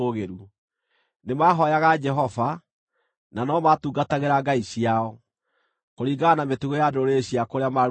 Nĩmahooyaga Jehova, na no maatungatagĩra ngai ciao, kũringana na mĩtugo ya ndũrĩrĩ cia kũrĩa maarutĩtwo.